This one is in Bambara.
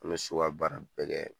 N be so ka baara bɛɛ kɛ